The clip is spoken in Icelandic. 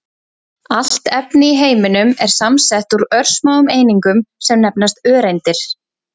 Allt efni í heiminum er samsett úr örsmáum einingum sem nefnast öreindir.